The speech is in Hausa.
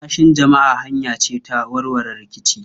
Rarrashin jama'a hanya ce ta warware rikici.